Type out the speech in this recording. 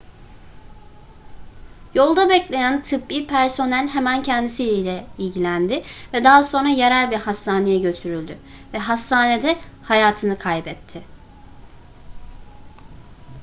yolda bekleyen tıbbi personel hemen kendisiyle ilgilendi ve daha sonra yerel bir hastaneye götürüldü ve hastanede hayatını kaybetti